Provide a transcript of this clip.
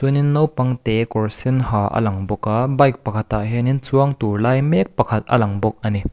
hianin naupangte kawr sen ha a lang bawk a bike pakhatah hianin chuang tûr lai mêk pakhat a lang bawk a ni.